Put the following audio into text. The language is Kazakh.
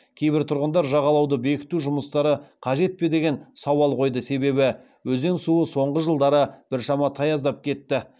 кейбір тұрғындар жағалауды бекіту жұмыстары қажет пе деген сауал қойды себебі өзен суы соңғы жылдары біршама таяздап кетті